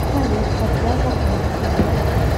салют когда закончится дождь